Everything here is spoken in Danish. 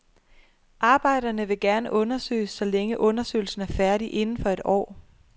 Arbejderne vil gerne undersøges, så længe undersøgelsen er færdig inden for et år.